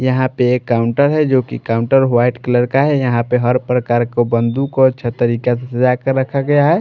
यहां पे एक काउंटर है जो कि काउंटर वाइट कलर का है यहाँ पे हर प्रकार को बंदूक ओर छतरी काफी सजा कर रखा गया है।